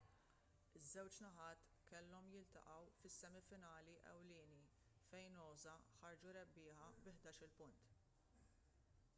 iż-żewġ naħat kellhom jiltaqgħu fis-semi finali ewlieni fejn noosa ħarġu rebbieħa bi 11-il punt